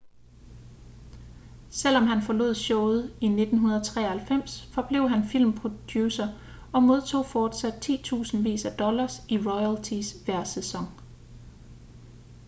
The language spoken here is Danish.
selvom han forlod showet i 1993 forblev han filmproducer og modtog fortsat titusindvis af dollars i royalties hver sæson